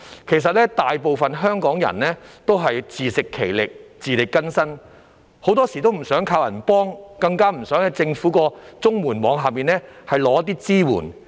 其實大部分香港人也是自食其力、自力更生，很多時都不想靠人幫，更不想在政府綜合社會保障援助網下領取支援。